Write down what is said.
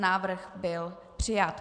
Návrh byl přijat.